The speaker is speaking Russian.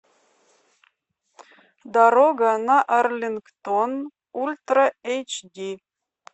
дорога на арлингтон ультра эйч ди